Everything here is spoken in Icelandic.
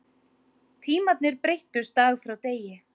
Tímarnir breyttust dag frá degi.